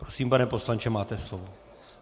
Prosím, pane poslanče, máte slovo.